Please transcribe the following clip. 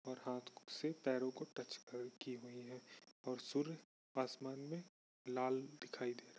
और हाथ से पैरों को टच कर की हुई है और सूर्य आसमान में लाल दिखाई दे--